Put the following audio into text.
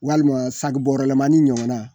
Walima sagibɔrɔlamani ɲɔgɔnna